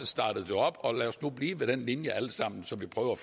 startede det op og lad os nu blive ved den linje alle sammen så vi prøver